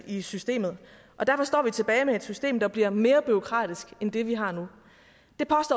i systemet og derfor står vi tilbage med et system der bliver mere bureaukratisk end det vi har nu